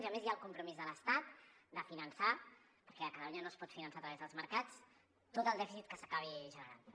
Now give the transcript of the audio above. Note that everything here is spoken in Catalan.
i a més hi ha el compromís de l’estat de finançar perquè catalunya no es pot finançar a través dels mercats tot el dèficit que s’acabi generant